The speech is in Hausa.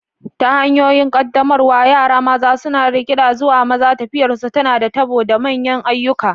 Ta hanyoyin qaddamarwa, yara maza suna rikida zuwa maza, tafiyarsu tana da tabo da manyan ayyuka.